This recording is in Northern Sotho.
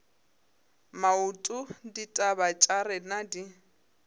maoto ditaba tša rena di